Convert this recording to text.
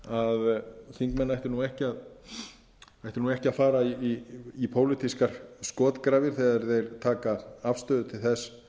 að þingmenn ættu ekki að fara í pólitískar skotgrafir þegar þeir taka afstöðu til þess